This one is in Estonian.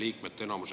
Aitäh!